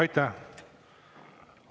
Aitäh!